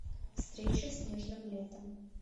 встреча с нежным летом